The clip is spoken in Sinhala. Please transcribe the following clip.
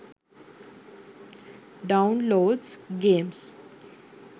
downloads games